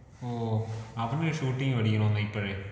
ഓഹ് അവന് ഷൂട്ടിംഗ് പഠിക്കണോന്ന് ഇപ്പഴേ.